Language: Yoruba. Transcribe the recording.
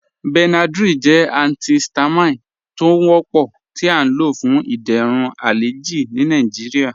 Benadryl jẹ antihistamine tó ń wọ́pọ̀ tí à ló fún ìdérún alẹjì ní Nàìjíríà.